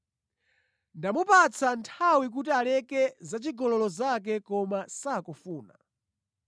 Ndamupatsa nthawi kuti aleke zachigololo zake koma sakufuna.